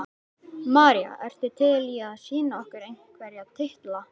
María: Ertu til í að sýna okkur einhverja titla?